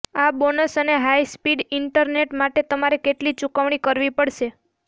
આ બોનસ અને high speed internet માટે તમારે કેટલી ચૂકવણી કરવી પડશે